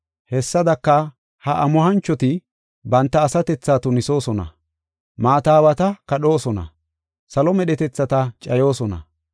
Hessadaka, ha amuhanchoti banta asatethaa tunisoosona; maata aawata kadhoosona; salo medhetethata cayoosona.